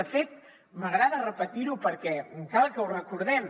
de fet m’agrada repetir ho perquè cal que ho recordem